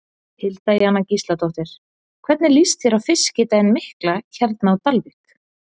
Hilda Jana Gísladóttir: Hvernig líst þér á Fiskidaginn mikla hérna á Dalvík?